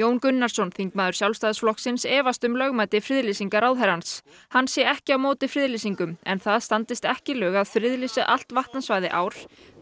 Jón Gunnarsson þingmaður Sjálfstæðisflokksins efast um lögmæti friðlýsinga ráðherrans hann sé ekki á móti friðlýsingum en það standist ekki lög að friðlýsa allt vatnasvæði ár